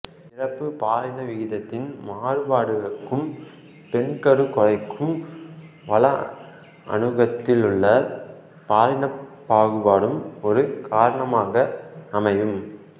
பிறப்பு பாலின விகிதத்தின் மாறுபாட்டுக்கும் பெண்கருக் கொலைக்கும் வள அணுக்கத்திலுள்ள பாலினப் பாகுபாடும் ஒரு காரணமாக அமையும்